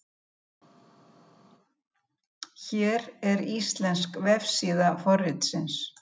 Hér er íslensk vefsíða forritsins.